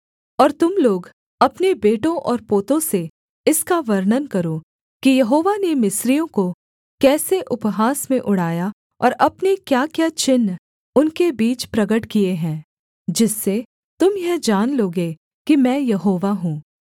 और तुम लोग अपने बेटों और पोतों से इसका वर्णन करो कि यहोवा ने मिस्रियों को कैसे उपहास में उड़ाया और अपने क्याक्या चिन्ह उनके बीच प्रगट किए हैं जिससे तुम यह जान लोगे कि मैं यहोवा हूँ